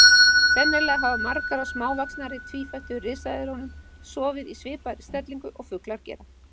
Sennilega hafa margar af smávaxnari tvífættu risaeðlunum sofið í svipaðri stellingu og fuglar gera.